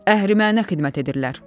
Əhrimənə xidmət edirlər.